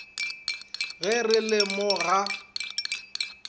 ge re le mo ga